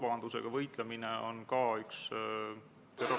Lugupeetud istungi juhataja!